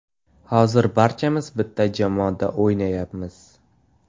Hozir barchamiz bitta jamoada o‘ynayapmiz.